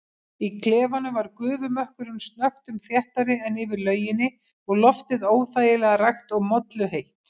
Í klefanum var gufumökkurinn snöggtum þéttari en yfir lauginni og loftið óþægilega rakt og molluheitt.